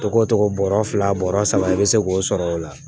Togo togo bɔrɔ fila bɔrɔ saba i be se k'o sɔrɔ o la